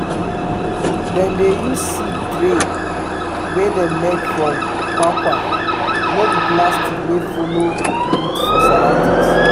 dem dey use seed trays wey dem make from kwakwa no be plastic wey follow good for surroundings